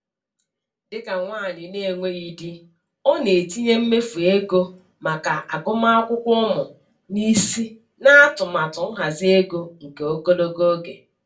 Dịka nwanyị na-enweghị di, ọ na-etinye mmefu ego maka agụmakwụkwọ ụmụ n'isi n'atụmatụ nhazi ego nke ogologo oge ya.